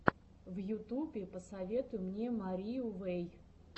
в ютубе посоветуй мне марию вэй